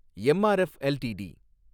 MRF LTD